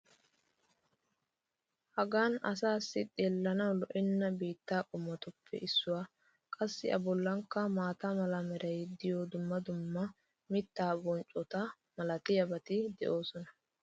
hagan asaassi xeellanawu lo'enna biittaa qommotuppe issuwa. qassi a bollikka maata mala meray diyo dumma dumma mitaa bonccota malatiyaabati de'oosona.